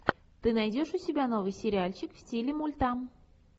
ты найдешь у себя новый сериальчик в стиле мульта